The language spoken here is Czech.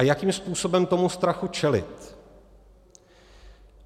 A jakým způsobem tomu strachu čelit?